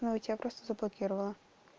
ну тебя просто заблокировала